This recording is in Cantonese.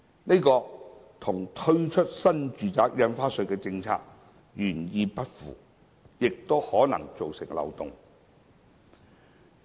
這與推出新住宅印花稅的政策原意不符，亦可能造成漏洞。